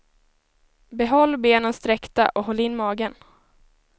Behåll benen sträckta och håll in magen.